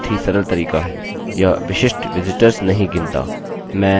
मैं विशिष्ट visitors tutorial शीघ्र ही बनाऊँगा